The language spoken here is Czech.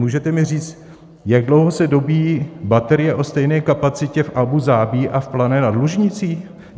Můžete mi říct, jak dlouho se dobíjí baterie o stejné kapacitě v Abú Zabí a v Plané nad Lužnicí?